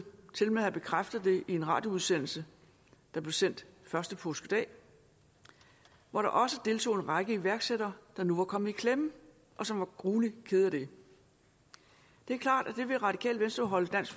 tilmed have bekræftet det i en radioudsendelse der blev sendt første påskedag hvor der også deltog en række iværksættere der nu var kommet i klemme og som var gruelig kede af det det er klart at det vil radikale venstre holde dansk